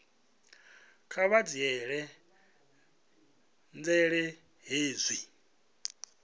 kha vha dzhiele nzhele hezwi